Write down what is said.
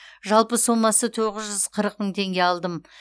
жалпы сомасы тоғыз жүз қырық мың теңге алдым